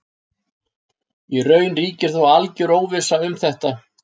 Í raun ríkir þó alger óvissa um þetta.